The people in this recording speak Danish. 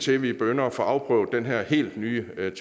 vi begynder at få afprøvet den her helt ny